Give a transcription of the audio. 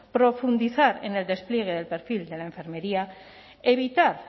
profundizar en el despliegue del perfil de la enfermería evitar